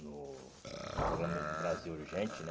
No no programa Brasil Urgente, né?